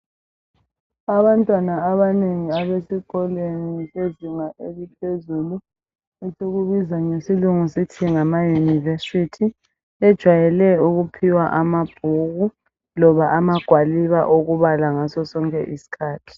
Abantwana abanengi abesikolweni sezinga eliphezulu esibiza ngesilungu sithi ngamayunivesithi bajayele ukuphiwa amabhuku loba amagwaliba okubala ngaso sonke isikhathi.